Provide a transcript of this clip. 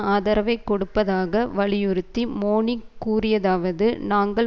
ஆதரவை கொடுப்பதாக வலியுறுத்தி மோனிக் கூறியதாவது நாங்கள்